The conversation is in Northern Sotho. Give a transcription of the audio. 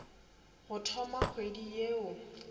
go thoma kgwedi ye o